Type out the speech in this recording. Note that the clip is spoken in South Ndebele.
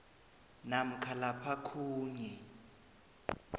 namkha lapha khunye